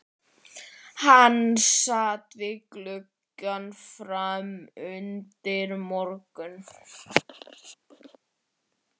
Hann sat við gluggann fram undir morgun.